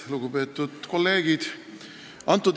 Lugupeetud kolleegid!